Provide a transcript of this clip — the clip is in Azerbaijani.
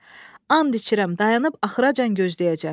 And içirəm, dayanıb axıracan gözləyəcəm.